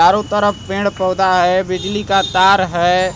चारों तरफ पेड़ पौधा है बिजली का तार है।